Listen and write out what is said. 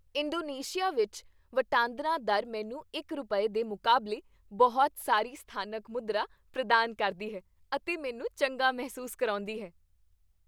Indonesia ਵਿੱਚ ਵਟਾਂਦਰਾ ਦਰ ਮੈਨੂੰ ਇੱਕ ਰੁਪਏ, ਦੇ ਮੁਕਾਬਲੇ ਬਹੁਤ ਸਾਰੀ ਸਥਾਨਕ ਮੁਦਰਾ ਪ੍ਰਦਾਨ ਕਰਦੀ ਹੈ ਅਤੇ ਮੈਨੂੰ ਚੰਗਾ ਮਹਿਸੂਸ ਕਰਾਉਂਦੀ ਹੈ।